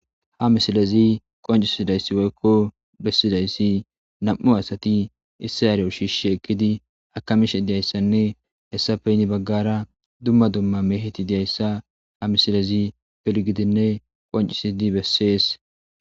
Ha misilezi qoncisidayssi woykko bessidayssi nam'u asati issi areyo shiishi ekkidi akamishe diyayssanne hessa peyni baggara dumma dumma meheti diyayssa ha misilezi pilgidinne qoncisidi bessees.